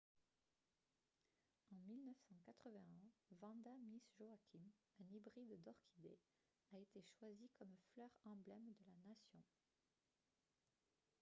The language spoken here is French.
en 1981 vanda miss joaquim un hybride d'orchidée a été choisie comme fleur emblème de la nation